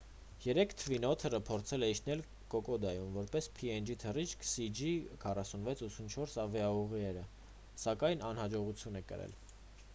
երեկ թվին օթերը փորձել է իջնել կոկոդայում որպես png թռիչք cg4684 ավիաուղիերը սակայն անհաջողություն է կրել